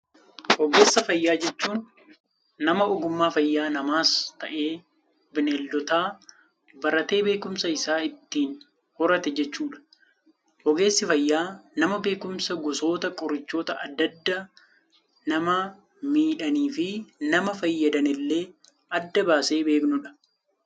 Ogeessa fayyaa jechuun, nama ogummaa fayyaa namaas ta'ee Bineeldota baratee, beekumsa isaa ittiin horate jechuudha. Ogeessi fayyaa nama beekumsa gosoota qorichootaa addaa addaa nama miidhanii fi nama fayyadan illee adda baasee beeknudha.